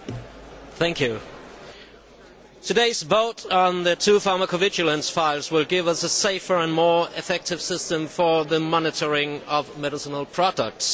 Mr President, today's vote on the two pharmacovigilance files will give us a safer and more effective system for the monitoring of medicinal products.